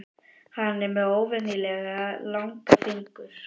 Hann er með óvenjulega langa fingur.